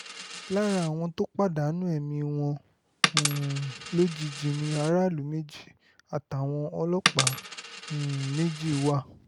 lára àwọn tó pàdánù ẹ̀mí wọn um lójijì ni aráàlú méjì àtàwọn ọlọ́pàá um méjì wà